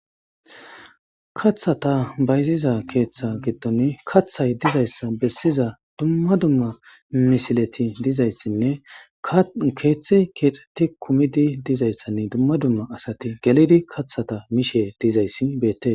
Kaththata bayziza keeththa giddon kaththay dizayssa bessiza dumma dumma misileti dizayssinne keeththi keexxeti kumidi dizayssanne dumma dumma asati gelidi kathata mishe dizayssi beette.